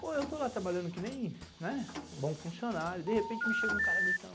Pô, eu estou lá trabalhando que nem, né, bom funcionário, de repente me chega um cara gritando,